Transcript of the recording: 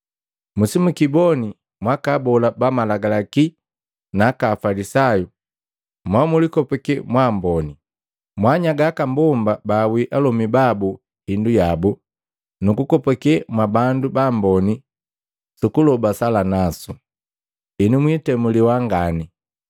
“Musimukiboni mwaka abola ba Malagalaki na Aka afalisayu mo mulikopake mwa amboni! Mwaanyaga aka mbomba baawii alomi babu hindu yabu, nukukopake mwa bandu baamboni sukuloba sala nasu. Henu mwitemuliwa ngani.